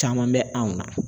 Caman bɛ anw na